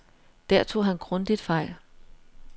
Der tog han grundigt fejl.